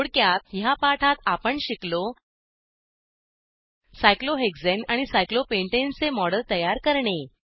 थोडक्यात ह्या पाठात आपण शिकलो सायक्लोहेक्साने आणि सायक्लोपेंटाने चे मॉडेल तयार करणे